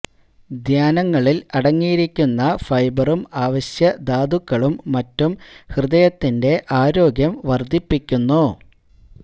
ധാന്യങ്ങളില് അടങ്ങിയിരിക്കുന്ന ഫൈബറും അവശ്യ ധാതുക്കളും മറ്റും ഹൃദയത്തിന്റെ ആരോഗ്യം വര്ധിപ്പിക്കുന്നു